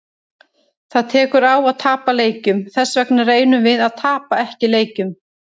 Það tekur á að tapa leikjum, þessvegna reynum við að tapa ekki leikjum.